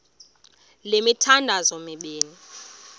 le mithandazo mibini